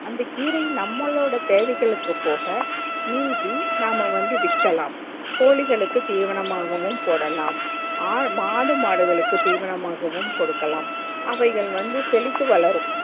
அந்த கீரை நம்மளோட தேவைகளுக்கு போக மிதி நாம வந்து விக்கலாம் கோழிகளுக்கும் திவினமாகவும் போடலாம் ஆல் மாடு மாடுகளுக்கு திவினமாகவும் கொடுக்கலாம் அவைகள் வந்து செழுத்து வளரும்